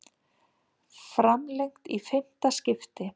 Framlengt í fimmta skiptið